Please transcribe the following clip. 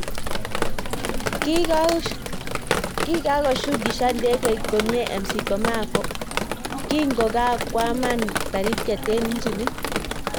Kikagoo shukishani ndegeit komye McCormack kingo kwaman Taritiet eng injinit